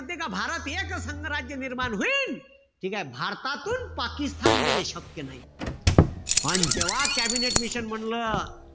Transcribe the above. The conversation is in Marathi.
म्हणते का भारत हे एकसंघ राज्य निर्माण होईल. ठीकेय? भारतातून पाकिस्तान देणे शक्य नाई. पण जेव्हा कॅबिनेट मिशन म्हणलं,